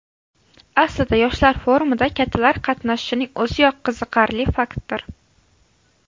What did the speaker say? Aslida yoshlar forumida kattalar qatnashishining o‘ziyoq qiziqarli faktdir.